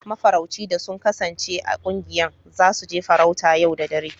Mafarauci da sun kasance a ƙungiyan, za su je farauta yau da dare.